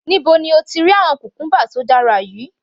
Níbo ni o ti rí àwọn cucumber tí ó dára yìí?.